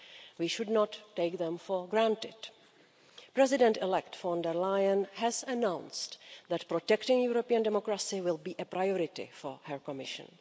We should not take them for granted. President-elect von der Leyen has announced that protecting European democracy will be a priority for her Commission.